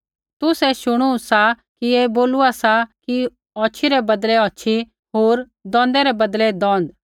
तुसै शुणू सा कि ऐ बोलूआ सा कि औछ़ी रै बदलै औछ़ी होर दोंदै रै बदलै दोंद